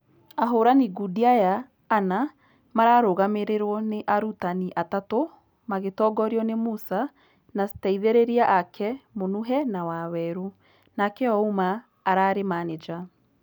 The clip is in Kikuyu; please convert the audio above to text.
Ahorani ngundi aya ana mararũgamĩrĩrwo nĩ arutani atatũ magĩtongorio nĩ musa na steithereria ake munuhe na waweru , nake ouma ararĩ maneja.